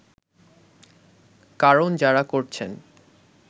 কারণ যারা করছেন